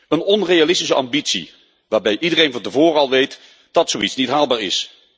Een onrealistische ambitie, waarbij iedereen van tevoren al weet dat zoiets niet haalbaar is.